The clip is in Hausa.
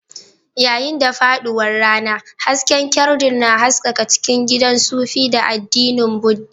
Yayin da faɗuwar rana, hasken kyandir na haskaka cikin gidan sufi na addinin Buddha.